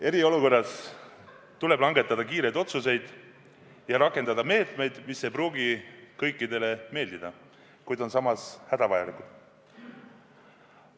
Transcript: Eriolukorras tuleb langetada kiireid otsuseid ja rakendada meetmeid, mis ei pruugi kõikidele meeldida, kuid on samas hädavajalikud.